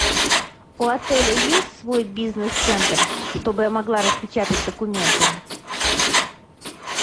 у отеля есть свой бизнес центр чтобы я могла распечатать документы